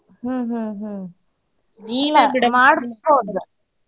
ಹ್ಮ್ ಹ್ಮ್ ಹ್ಮ್ .